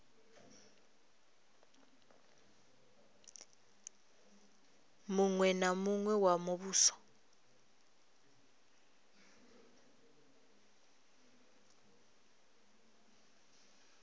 muṅwe na muṅwe wa muvhuso